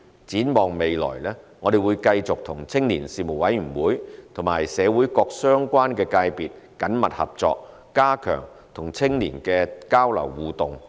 展望未來，我們會繼續與青年事務委員會及社會各相關界別緊密合作，加強與青年的交流互動。